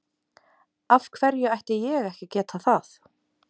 Af hverju ætti ég ekki að geta það?